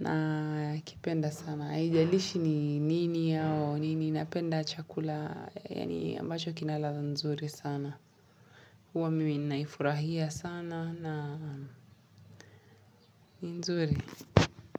Na kipenda sana. Ijalishi ni nini au. Nini napenda chakula yaani ambacho kina ladha nzuri sana. Kuwa mimi ninaifurahia sana na ni nzuri.